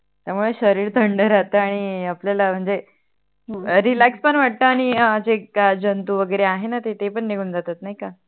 त्यामुळे शरीर थंड राहत आणि आपल्या म्हणजे Relax पण वटतो आणि जे काय जंतु वगेरे आहे णा ते पण निगुण जातात नाही का